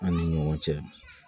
An ni ɲɔgɔn cɛ